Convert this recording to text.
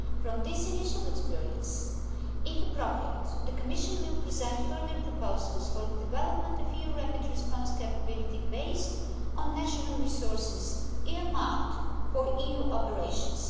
From this initial experience, if appropriate, the Commission will present further proposals for the development of the EU rapid response capability, funded from national resources earmarked for EU operations.